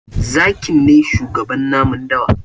Zaki ne shugaban namun dawa.